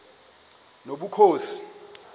nobukhosi